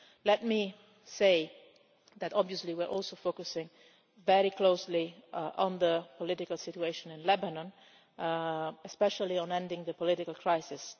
Let me say that obviously we are also focusing very closely on the political situation in Lebanon, especially on ending the political crisis.